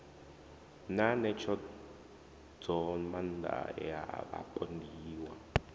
na ṋetshedzomaanda ya ya vhapondiwa